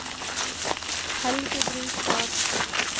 Helge Brustad